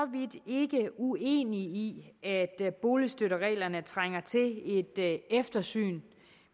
vidt ikke uenig i at boligstøttereglerne trænger til et eftersyn